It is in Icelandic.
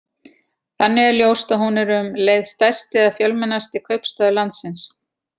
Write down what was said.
Þannig er ljóst að hún er um leið stærsti eða fjölmennasti kaupstaður landsins.